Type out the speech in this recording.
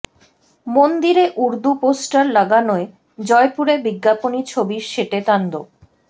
মন্দিরে উর্দু পোস্টার লাগানোয় জয়পুরে বিজ্ঞাপনী ছবির সেটে তাণ্ডব